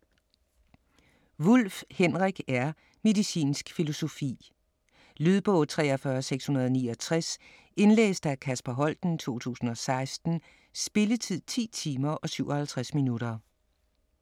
Wulff, Henrik R.: Medicinsk filosofi Lydbog 43669 Indlæst af Kasper Holten, 2016. Spilletid: 10 timer, 57 minutter.